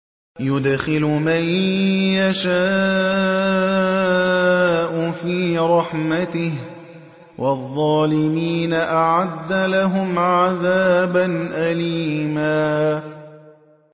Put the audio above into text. يُدْخِلُ مَن يَشَاءُ فِي رَحْمَتِهِ ۚ وَالظَّالِمِينَ أَعَدَّ لَهُمْ عَذَابًا أَلِيمًا